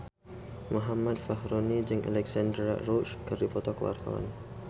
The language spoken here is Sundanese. Muhammad Fachroni jeung Alexandra Roach keur dipoto ku wartawan